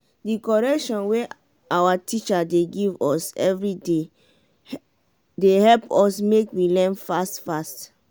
di correction wey awa teacher dey give us everyday dey help us make we learn fast fast.